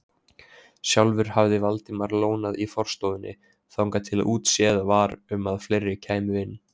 Sjálfur hafði Valdimar lónað í forstofunni þangað til útséð var um að fleiri kæmu inn.